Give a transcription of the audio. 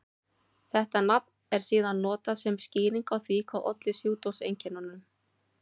Þetta nafn er síðan notað sem skýring á því hvað olli sjúkdómseinkennunum.